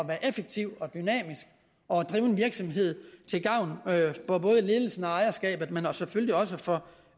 være effektiv og dynamisk og drive en virksomhed til gavn for både ledelsen og ejerskabet men selvfølgelig også for